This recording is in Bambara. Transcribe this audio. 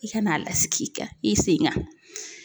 I ka n'a lasigi i kan i sen kan.